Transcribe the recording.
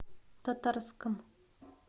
татарском